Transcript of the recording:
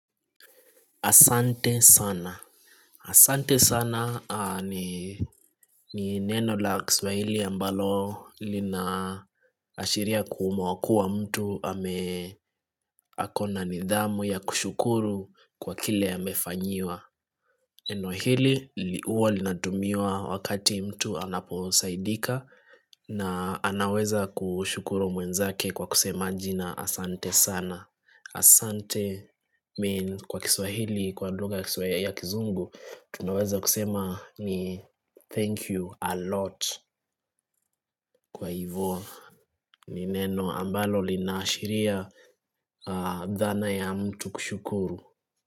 Asante sana. Asante sana ni neno la kiswahili ambalo linaashiria kuwa mtu ame akona nidhamu ya kushukuru kwa kile amefanyiwa. Neno hili huwa linatumiwa wakati mtu anaposaidika na anaweza kushukuru mwenzake kwa kusema jina asante sana. Asante means kwa kiswahili, kwa lugha kiswahili ya kizungu, tunaweza kusema ni thank you a lot kwa hivo. Ni neno ambalo linaashiria dhana ya mtu kushukuru.